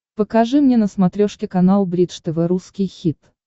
покажи мне на смотрешке канал бридж тв русский хит